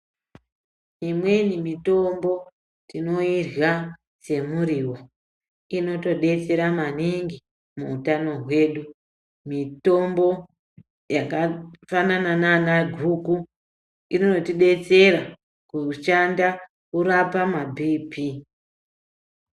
Imweni mitombo tinoirya semuriwo inotidetsera maningi muutano hwedu, mitombo yakafanana nanaguku inotidetsera kushanda kurapa maBP.